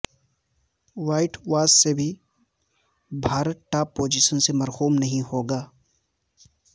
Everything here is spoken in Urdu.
وائٹ واش سے بھی بھارت ٹاپ پوزیشن سے محروم نہیں ہوگا